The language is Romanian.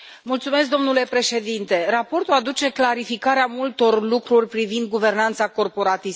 Domnule președinte, raportul aduce clarificarea multor lucruri privind guvernanța corporatistă.